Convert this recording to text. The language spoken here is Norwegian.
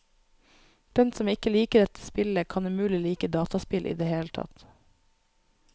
Den som ikke liker dette spillet, kan umulig like dataspill i det hele tatt.